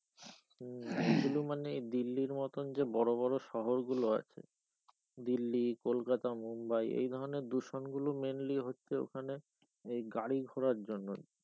হম কিন্তু মানে দিল্লির মতন যে বড় বড় শহরগুলো আছে দিল্লি কলকাতা মুম্বাই এই ধরণের দূষণ গুলো mainly হচ্ছে ওখানে এই গাড়ী ঘোড়ার জন্য,